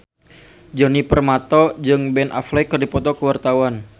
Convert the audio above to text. Djoni Permato jeung Ben Affleck keur dipoto ku wartawan